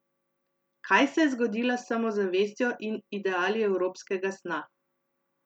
Kaj se je zgodilo s samozavestjo in ideali evropskega sna?